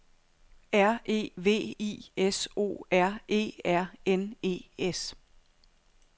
R E V I S O R E R N E S